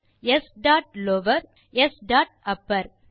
அவை s dot lower மற்றும் s dot Appar